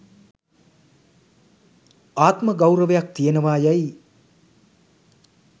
ආත්ම ගෞරවයක් තියෙනවා යැයි